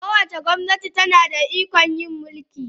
Kowace gwamnati tana da ikon yin mulki